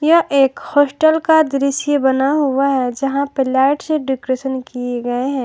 यह एक हॉस्टल का दृश्य बना हुआ है यहां पर लाइट से डेकोरेशन किए गए हैं।